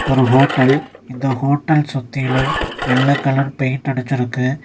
ஒரு ஹோட்டல் இந்த ஹோட்டல் சுத்திலு வெள்ள கலர் பெயிண்ட் அடிச்சிருக்கு.